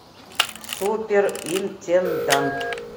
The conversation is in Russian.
супер интендант